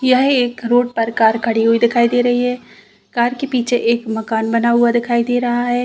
यह एक रोड पर कार खड़ी हुई दिखाई दे रही है। कार के पीछे एक मकान बना हुआ दिखाई दे रहा है।